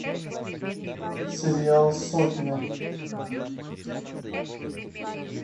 сериал сотня